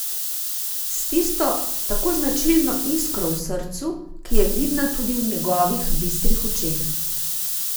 S tisto tako značilno iskro v srcu, ki je vidna tudi v njegovih bistrih očeh.